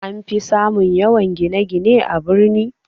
Anfi samun yawan gine-gine a birni